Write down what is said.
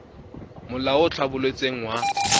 molao o o tlhabolotsweng wa